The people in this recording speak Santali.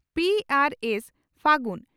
ᱯᱹ ᱟᱨ ᱥᱹ, ᱯᱷᱟᱹᱜᱩᱱ ᱾